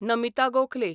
Namita Gokhale